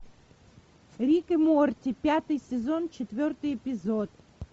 рик и морти пятый сезон четвертый эпизод